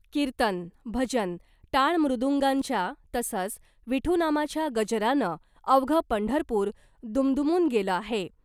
किर्तन , भजन , टाळ मृदूंगांच्या तसंच विठू नामाच्या गजरानं अवघं पंढरपूर दुमदुमून गेलं आहे .